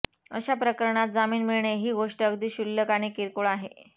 अशा प्रकरणात जामीन मिळणे ही गोष्ट अगदी क्षुल्लक आणि किरकोळ आहे